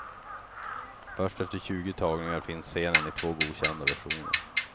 Först efter tjugo tagningar finns scenen i två godkända versioner.